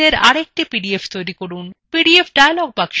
route map fileএর আরএকটি PDF তৈরি করুন